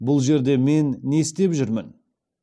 бұл жерде мен не істеп жүрмін